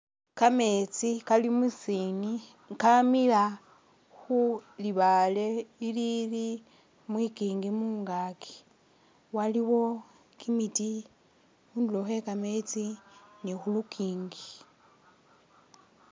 Kametsi kali musini kamila khu libale ilili mwikingi mungaaki, waliwo kimiti khundulo Khwe kametsi ni khu lukingi